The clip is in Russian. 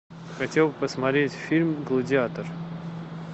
хотел бы посмотреть фильм гладиатор